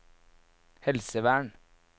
helsevern